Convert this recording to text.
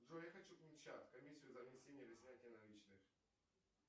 джой я хочу комиссию за внесение или снятие наличных